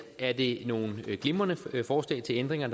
er det nogle glimrende forslag til ændringer